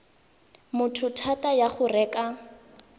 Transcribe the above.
motho thata ya go reka